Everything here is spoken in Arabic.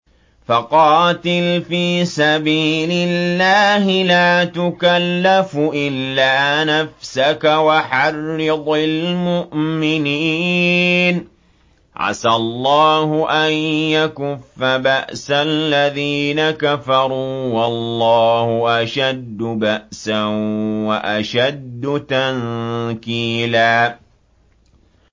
فَقَاتِلْ فِي سَبِيلِ اللَّهِ لَا تُكَلَّفُ إِلَّا نَفْسَكَ ۚ وَحَرِّضِ الْمُؤْمِنِينَ ۖ عَسَى اللَّهُ أَن يَكُفَّ بَأْسَ الَّذِينَ كَفَرُوا ۚ وَاللَّهُ أَشَدُّ بَأْسًا وَأَشَدُّ تَنكِيلًا